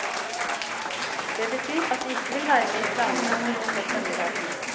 Det betyr at de ikke vil være med i planene om å ruste opp denne gaten.